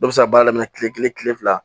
Dɔ bɛ se ka baara daminɛ kile kelen kile fila